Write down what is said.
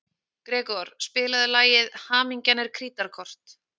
Gregor, spilaðu lagið „Hamingjan er krítarkort“.